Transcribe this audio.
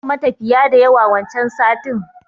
Babu matafiya da yawa wancan satin